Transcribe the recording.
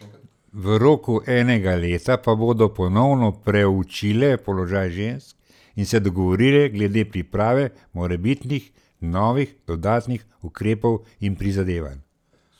V roku enega leta pa bodo ponovno preučile položaj žensk in se dogovorile glede priprave morebitnih novih dodatnih ukrepov in prizadevanj.